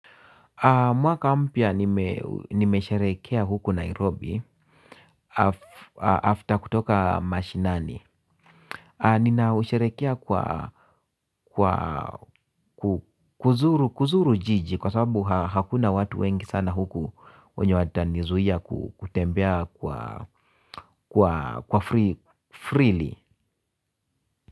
Mwaka mpya nimesherehekea huku Nairobi after kutoka mashinani. Nina usherekea kwa kuzuru jiji kwa sababu hakuna watu wengi sana huku wenye wata nizuia kutembea kwa freely.